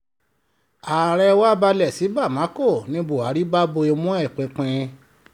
ààrẹ wá balẹ̀ sí bámakọ ní buhari bá bo imú ẹ̀ pinpin